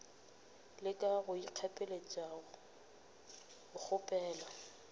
leka go ikgapeletša go kgaphela